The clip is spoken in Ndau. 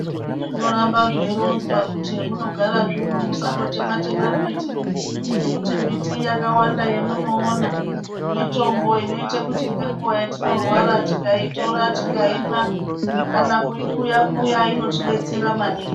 Zvinorambe zveironzwa kuti hemunogara zvino musangotema tema mbiti ngekuti mbiti yakawanda yamunoona mitombo inoite kuti ngenguwa yatinorwara tikaitora tikaimwa kana kuikuya kuya inotidetsera maningi.